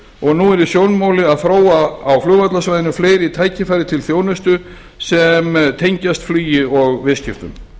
og nú er í sjónmáli að þróa á flugvallarsvæðinu fleiri tækifæri til þjónustu sem tengist flugi og viðskiptum